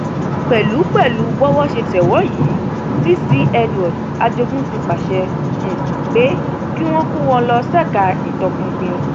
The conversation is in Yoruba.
pẹlú pẹlú bówó ṣe tẹ wọn yìí cc edward ajogun ti pàṣẹ um pé kí wọn kó wọn lọ ṣèkà um ìtọpinpin